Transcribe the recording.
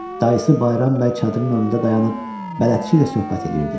Dayısı Bayram bəy çadırın önündə dayanıb bələdçi ilə söhbət eləyirdi.